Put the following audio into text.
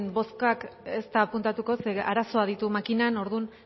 bozka ez da apuntatuko ze arazoak ditu makinan orduan